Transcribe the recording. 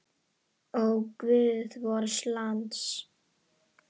Ó, guð vors lands!